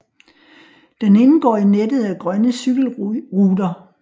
Den indgår i nettet af Grønne Cykelruter